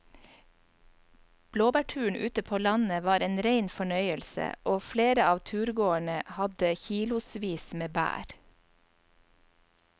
Blåbærturen ute på landet var en rein fornøyelse og flere av turgåerene hadde kilosvis med bær.